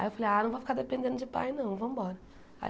Aí eu falei, ah, não vou ficar dependendo de pai não, vamos embora.